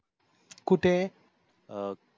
कुठे? अं